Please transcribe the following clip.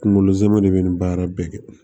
Kunkolo zɛmɛ de be nin baara bɛɛ kɛ